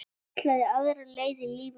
Ætlaði aðra leið í lífinu.